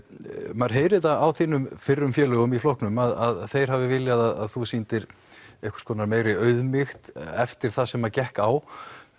maður heyrir það á þínum fyrrum félögum í flokknum að þeir hafi viljað að þú sýndir einhvers konar meiri auðmýkt eftir það sem að gekk á